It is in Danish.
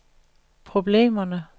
problemerne